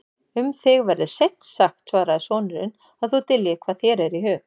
Um þig verður seint sagt, svaraði sonurinn,-að þú dyljir hvað þér er í hug.